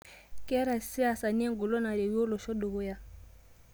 Ketaa lsiasani engolon narewue olosho dukuya